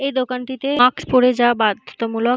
এই দোকানটিতে মাক্স পরে যাওয়া বাধ্যতামূলক ।